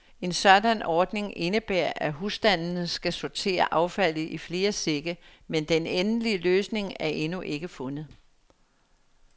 En sådan ordning indebærer, at husstandene skal sortere affaldet i flere sække, men den endelige løsning er endnu ikke fundet.